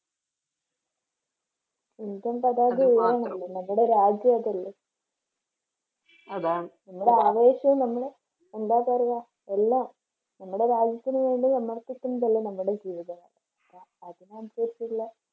Indian പതാകയാണ് നമ്മുടെ രാജ്യം അതല്ലേ അതാണ് നമ്മുടെ ആവേശം നമ്മള് എന്താ പറയുക എല്ലാം നമ്മുടെ രാജ്യത്തിന് വേണ്ടി സമർപ്പിക്കുന്നതല്ലേ നമ്മുടെ ജീവിതം. അപ്പോ അതിനനുസരിച്ചുള്ള